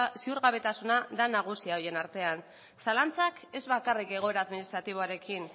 ziurgabetasuna da nagusia horien artean zalantzak ez bakarrik egoera administratiboarekin